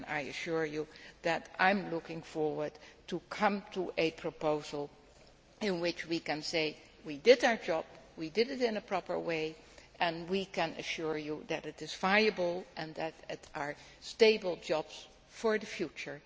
I assure you that I am looking forward to coming up with a proposal where we can say that we did our job, we did it in a proper way and we can assure you that it is viable and that there are stable jobs for the future.